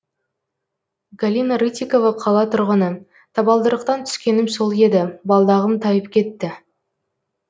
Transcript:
галина рытикова қала тұрғыны табалдырықтан түскенім сол еді балдағым тайып кетті